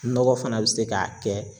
Nɔgɔ fana be se ka kɛ